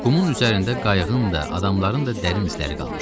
Qumun üzərində qayıqın da, adamların da dərin izləri qalmışdı.